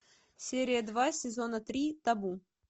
серия два сезона три табу